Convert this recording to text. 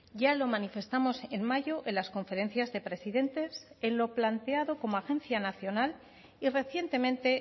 ya lo manifestamos en mayo en las conferencias de presidentes en lo planteado como agencia nacional y recientemente